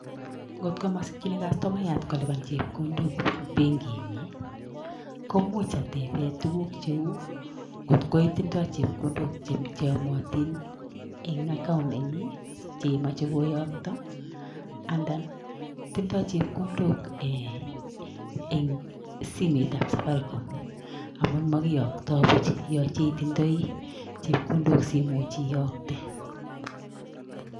Ngot ko mosikyiin kastomayaat kolipan chepkondook en benkinyin, koimuch ateben tuguuk cheu angot ko tindo chepkondook cheomotin en akoun nenyin chemoche koyoktoo anan tindo chepkondook en timetable safaricom amun mokiyoktoo buch yooche itindoi chepkondook simuch iyoktee.